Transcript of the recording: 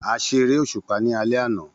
A ṣe eré òṣùpá ní alé àná